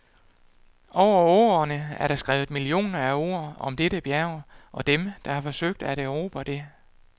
Over årene er der skrevet millioner af ord om dette bjerg og dem, der har forsøgt at erobre det.